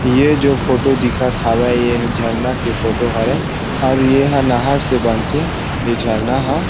ये जो फोटो दिखत हावे ये झरना के फोटो हरे और यहाँ नहर से बनथे ये झरना ह।